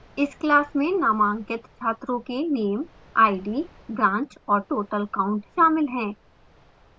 इस class में नामांकित छात्रों के name id branch और total count शामिल हैं